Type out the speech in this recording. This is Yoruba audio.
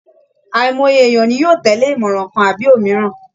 Àìmọye èèyàn ni yóò tẹ̀lé ìmọ̀ràn kan àbí òmíràn